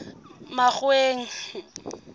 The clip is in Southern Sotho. makgoweng